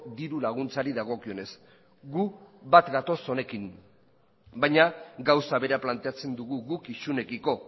diru laguntzari dagokionez gu bat gatoz honekin baina gauza bera planteatzen dugu guk isunekiko